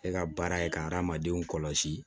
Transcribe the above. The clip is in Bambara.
E ka baara ye ka hadamadenw kɔlɔsi